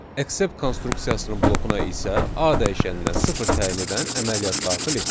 Accept konstruksiyasının blokuna isə A dəyişəninə sıfır təyin edən əməliyyat daxil etdik.